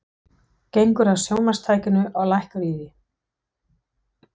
Gengur að sjónvarpstækinu og lækkar í því.